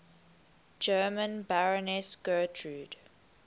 german baroness gertrud